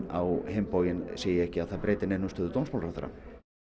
á hinn bóginn sé ekki að það breyti neinu um stöðu dómsmálaráðherra